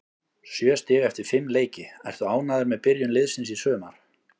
Sjö stig eftir fimm leiki, ertu ánægður með byrjun liðsins í sumar?